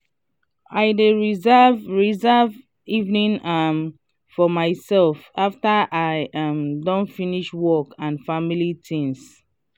i dey reserve reserve evening um for myself after i um don finish work and family tings.